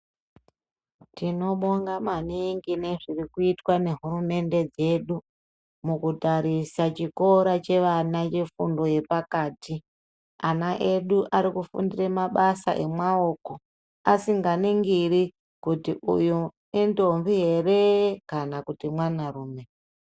Tino bonga maningi nezviri kuitwa nehurumende dzedu, mukutarisa chikora chevana chefundo yepakati. Ana edu ari kufundire mabasa emaoko asinga ningiri kuti uyu indombi ere kana kuti mwanarume.